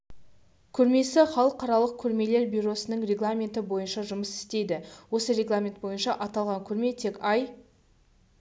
көрмесі халықаралық көрмелер бюросының регламенті бойынша жұмыс істейді осы регламен бойынша аталған көрме тек ай